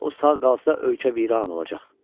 Guya o sağ qalsa ölkə viran olacaq.